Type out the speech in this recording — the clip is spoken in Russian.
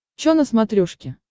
чо на смотрешке